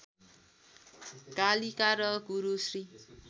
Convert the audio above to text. कालिका र गुरु श्री